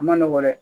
A ma nɔgɔn dɛ